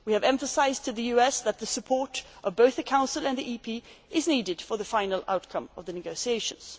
number of key issues. We have emphasised to the US that the support of both the Council and the Parliament is needed for the final outcome